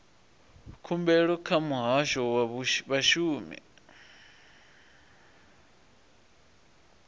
khumbelo kha muhasho wa vhashumi